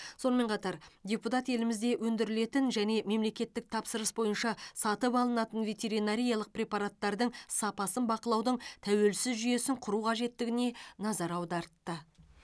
сонымен қатар депутат елімізде өндірілетін және мемлекеттік тапсырыс бойынша сатып алынатын ветеринариялық препараттардың сапасын бақылаудың тәуелсіз жүйесін құру қажеттігіне назар аудартты